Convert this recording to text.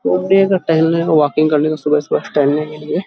टहलने के वॉकिंग करने के लिए सुबह-सुबह टहलने के लिए --